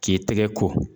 K'i tɛgɛ ko